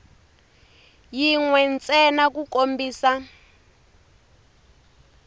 yin we ntsena ku kombisa